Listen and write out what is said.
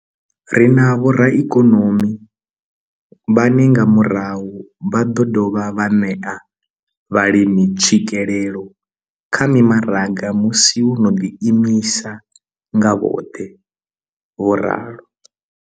Ri na vhoraikonomi vhane nga murahu vha ḓo dovha vha ṋea vhalimi tswikelelo kha mimaraga musi vho no ḓi imisa nga vhoṱhe. vho ralo.